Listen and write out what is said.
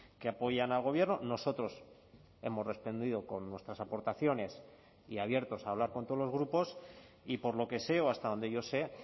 que apoyan al gobierno nosotros hemos respondido con nuestras aportaciones y abiertos a hablar con todos los grupos y por lo que sé o hasta donde yo sé